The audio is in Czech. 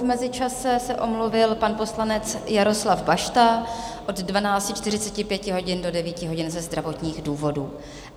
V mezičase se omluvil pan poslanec Jaroslav Bašta od 12.45 hodin do 9 hodin ze zdravotních důvodů.